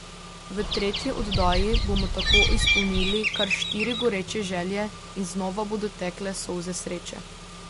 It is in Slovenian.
V tretji oddaji bomo tako izpolnili kar štiri goreče želje in znova bodo tekle solze sreče.